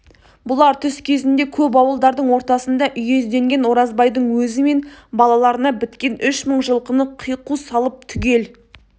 бұлар түс кезінде көп ауылдардың ортасында үйездеген оразбайдың өзі мен балаларына біткен үш мың жылқыны қиқу салып түгел